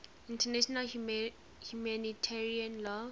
international humanitarian law